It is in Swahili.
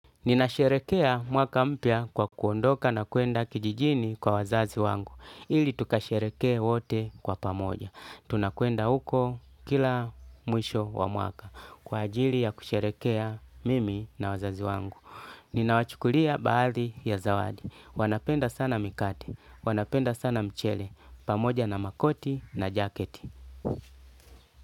Nina sherekea mwaka mpya kwa kuondoka na kuenda kijijini kwa wazazi wangu, ili tukasherekee wote kwa pamoja. Tunakuenda huko kila mwisho wa mwaka kwa ajili ya kusherekea mimi na wazazi wangu. Nina wachukulia baadhi ya zawadi. Wanapenda sana mikati, wanapenda sana mchele, pamoja na makoti na jaketi.